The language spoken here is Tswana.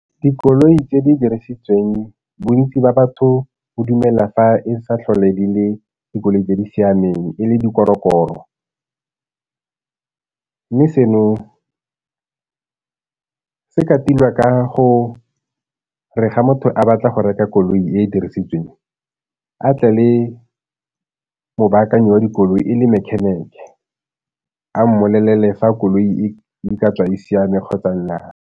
Dikoloi tse di dirisitsweng bontsi ba batho bo dumela fa e sa tlhole di le dikoloi tse di siameng, e le dikorokoro. Mme seno se ka tilwa ka gore ga motho a batla go reka koloi e dirisitsweng, a tle le mobaakanyi wa dikoloi e le mechanic a mmolelele fa koloi e ka tswa di siame kgotsa nnyaa.